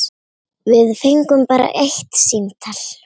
Við fengum bara eitt símtal.